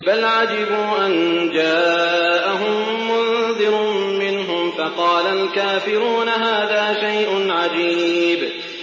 بَلْ عَجِبُوا أَن جَاءَهُم مُّنذِرٌ مِّنْهُمْ فَقَالَ الْكَافِرُونَ هَٰذَا شَيْءٌ عَجِيبٌ